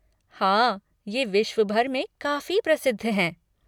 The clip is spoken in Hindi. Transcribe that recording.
हाँ, ये विश्वभर में काफ़ी प्रसिद्ध हैं।